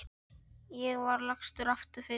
Ég var lagstur fyrir.